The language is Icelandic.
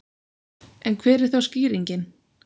En hver er þá skýringin?